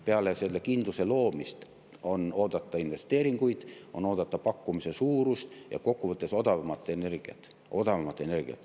Peale selle kindluse loomist on oodata investeeringuid, on oodata suuremat pakkumist ja kokku võttes odavamat energiat.